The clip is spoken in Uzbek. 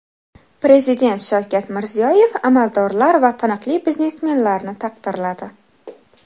Prezident Shavkat Mirziyoyev amaldorlar va taniqli biznesmenlarni taqdirladi.